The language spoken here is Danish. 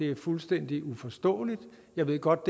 og fuldstændig uforståeligt og jeg ved godt